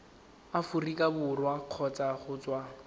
aforika borwa kgotsa go tswa